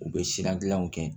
U bɛ siran gilanw kɛ